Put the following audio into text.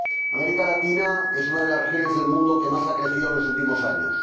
América Latina es una de las regiones del mundo que más ha crecido en los últimos años.